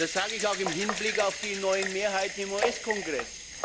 Das sage ich auch im Hinblick auf die neuen Mehrheiten im US Kongress.